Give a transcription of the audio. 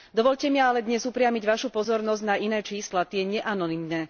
Dovoľte mi ale dnes upriamiť vašu pozornosť na iné čísla, tie neanonymné.